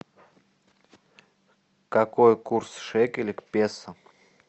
какой курс шекеля к песо